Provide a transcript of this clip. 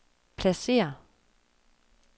pladsér